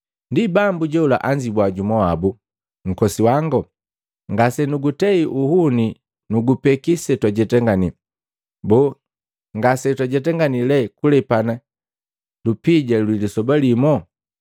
“Ndi bambu jola anzibwa jumu wabu, ‘Nkosi wango, ngasenugutei uhune nugupeki setwajetangani! Boo, ngase twajetanganii lee kulepana lupija lwi lisoba limo?’ ”